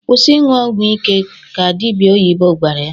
"Kwụsị ịṅụ ọgwụ ike!" ka dịbịa oyibo gwara ya.